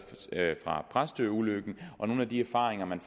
fra præstøulykken nogle af de erfaringer man